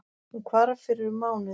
Hún hvarf fyrir um mánuði